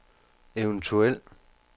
eventuel